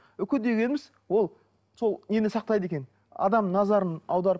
үкі дегеніміз ол сол нені сақтайды екен адамның назарын аударып